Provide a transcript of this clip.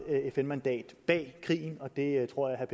fn mandat bag krigen og det tror jeg